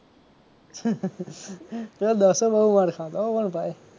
પેલો દશો બહુ વાર ખાતો હો પણ ભાઈ